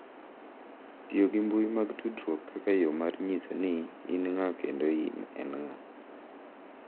Tiyo gi mbui mag tudruok kaka yo mar nyiso ni in ng'a kendo ni en ng'a